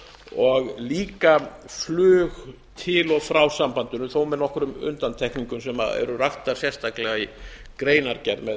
og líka flug til og frá sambandinu þó með nokkrum undantekningum sem eru raktar sérstaklega í greinargerð með tillögunni